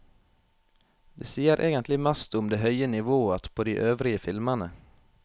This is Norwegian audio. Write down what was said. Det sier egentlig mest om det høye nivået på de øvrige filmene.